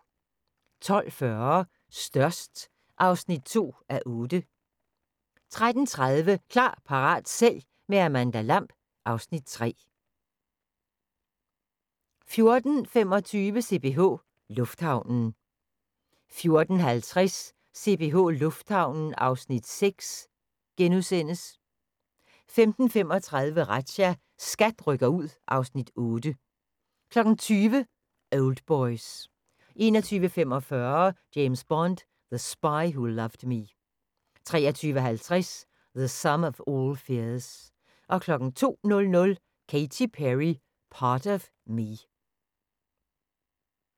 12:40: Størst (2:8) 13:30: Klar, parat, sælg – med Amanda Lamb (Afs. 3) 14:25: CPH Lufthavnen 14:50: CPH Lufthavnen (Afs. 6)* 15:35: Razzia – SKAT rykker ud (Afs. 8) 20:00: Oldboys 21:45: James Bond: The Spy Who Loved Me 23:50: The Sum of all Fears 02:00: Katy Perry: Part of Me